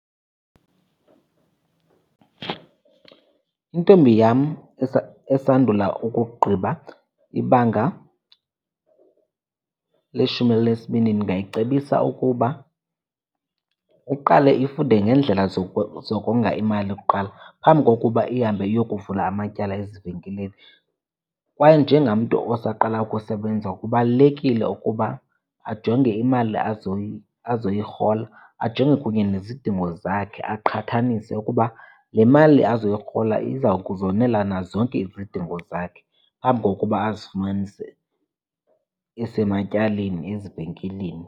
Intombi yam esandula ukugqiba ibanga leshumi elinesibini ndingayicebisa ukuba iqale ifunde ngendlela zokonga imali kuqala phambi kokuba ihambe iyokuvula amatyala ezivenkileni. Kwaye njengamntu osaqalayo ukusebenza kubalulekile ukuba ajonge imali azoyirhola, ajonge kunye nezidingo zakhe. Aqhathanise ukuba le mali azoyirhola iza kuzonela na zonke izidingo zakhe phambi kokuba azifumanise esematyaleni ezivenkileni.